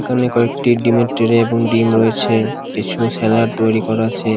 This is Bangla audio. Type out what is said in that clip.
এখানে কয়েকটি ডিমের ট্রে এবং ডিম রয়েছে কিছু স্যালাড তৈরী করা আছে।